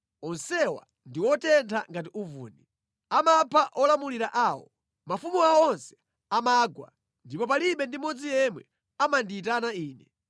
Onsewa ndi otentha ngati uvuni, amapha olamulira awo. Mafumu awo onse amagwa, ndipo palibe ndi mmodzi yemwe amandiyitana Ine.